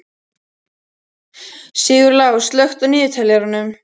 Sigurlás, slökktu á niðurteljaranum.